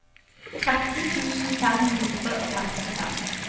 tretten tusen fem hundre og femtifem